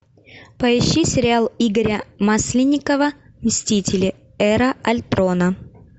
поищи сериал игоря масленникова мстители эра альтрона